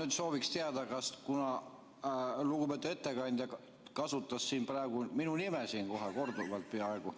Ma sooviksin teada, et kuna lugupeetud ettekandja kasutas siin praegu minu nime, korduvalt peaaegu,